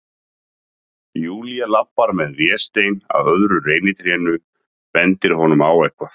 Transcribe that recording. Júlía labbar með Véstein að öðru reynitrénu, bendir honum á eitthvað.